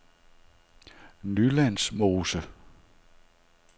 Nylandsmose